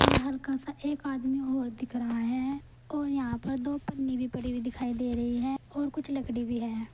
हल्का सा एक आदमी और दिख रहा है और यहां पर दो पन्नी भी पड़ी हुई दिखाई दे रही है और कुछ लकड़ी भी है।